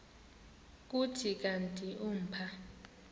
kuthi kanti umpha